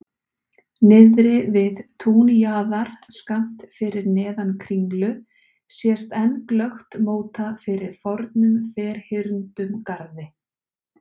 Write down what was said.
Niðri við túnjaðar, skammt fyrir neðan Kringlu sést enn glöggt móta fyrir fornum ferhyrndum garði.